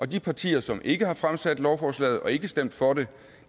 de partier som ikke har fremsat lovforslaget og ikke stemt for